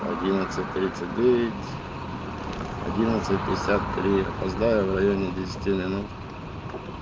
одиннадцать тридцать девять одиннадцать пятьдесят три опоздаю в районе десяти минут